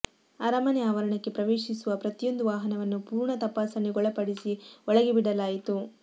ಅರಮನೆ ಆವರಣಕ್ಕೆ ಪ್ರವೇಶಿಸುವ ಪ್ರತಿಯೊಂದು ವಾಹನವನ್ನು ಪೂರ್ಣ ತಪಾಸಣೆಗೊಳಪಡಿಸಿ ಒಳಗೆ ಬಿಡಲಾಯಿತು